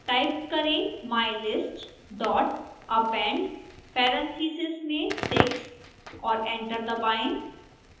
type करें mylist dot append parentheses में six और एंटर दबाएं